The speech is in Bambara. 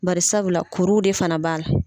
Barisabula kuruw de fana b'a la.